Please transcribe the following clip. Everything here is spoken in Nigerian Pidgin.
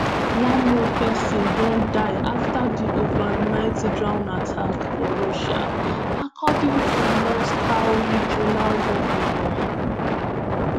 one more pesin don die afta di overnight drone attack for russia according to moscow regional govnor.